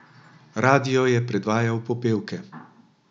Radio je predvajal popevke.